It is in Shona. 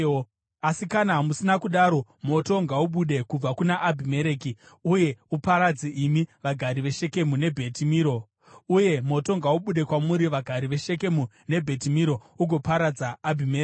Asi kana musina kudaro, moto ngaubude kubva kuna Abhimereki, uye uparadze imi, vagari veShekemu neBheti Miro, uye moto ngaubude kwamuri, vagari veShekemu neBheti Miro, ugoparadza Abhimereki!”